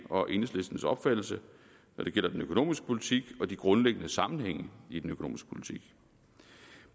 og enhedslistens opfattelse når det gælder den økonomiske politik og de grundlæggende sammenhænge i den økonomiske politik